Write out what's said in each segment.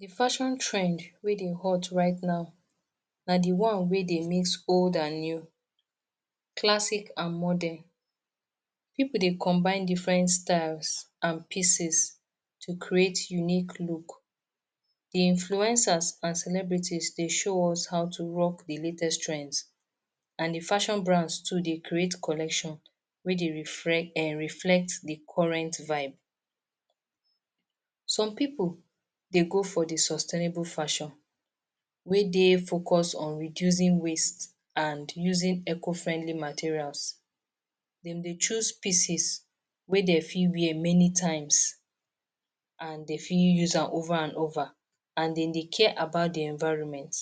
The fashion trend wey dey hot right now na the one wey dey mis old and new, classic and modern. Pipul dey combine different style and pieces to create unique look, the influencers and celebrity dey show us how to rock the latest trend and the fashion brand too dey create collection wey dey reflect the current vibe. Some pipul dey go for the sustainable fashion wey dey focus on reducing risk and using eco- friendly materials, dem dey choose pieces wey dem fit wear many times and dey fit use am over and over and dem dey care about the environment.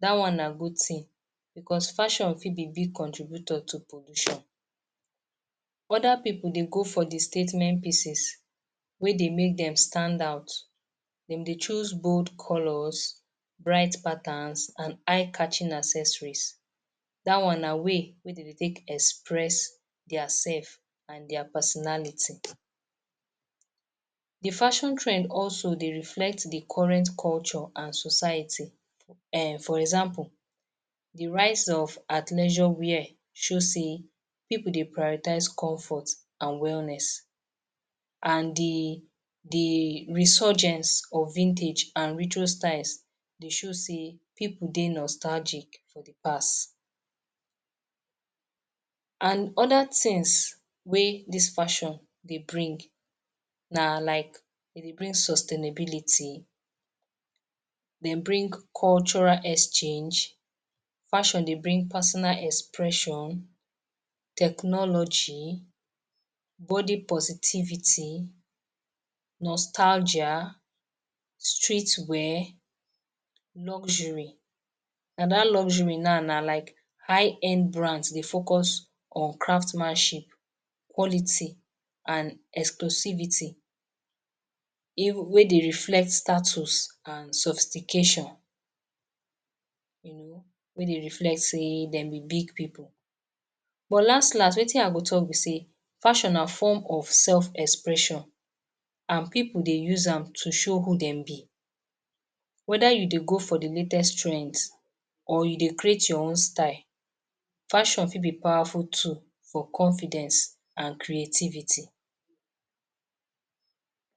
Dat one na good tin because fashion fit dey be from contribution to pollution, other pipul dey go for the statement pieces wey dey make dem stand out dem dey choose bold colours, dry patterns and eye catching accessories da one na way wey dem dey take express dia self and personality. The fashion trend also dey reflect the current culture and society, for example, the rise of at leisure wear show sey pipul dey prioritize comfort and wellness, the resurgent or vintage and retrio style dey show sey pipul dey nostalgic for the past and other things wey dis fashion dey bring na like e dey bring sustainability, bring cultural exchange, e dey bring personal expression, technology, body possibility, nostalgia, street wear, luxury. And dat luxary now na IN brand dey focus on craftsmanship, quality and exposivity wey dey reflect status and stultification, wey dey reflect sey dem be big pipul but las-las wetin I go talk be sey fashion na form of self expression and pipul dey use am to show who dem be weda you dey go for the latest trend or you dey create your own style, fashion fit be powerful tool for confidence and creativity.